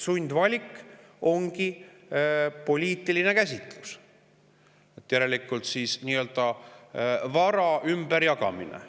Sundvalik ongi poliitiline käsitlus, järelikult vara ümberjagamine.